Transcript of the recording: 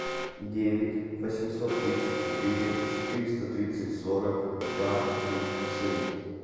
девять восемьсот тридцать четыре четыреста тридцать сорок два три семь